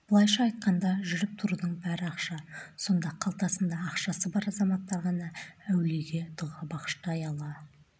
былайша айтқанда жүріп-тұрудың бәрі ақша сонда қалтасында ақшасы бар азаматтар ғана әулиеге дұға бағыштай ала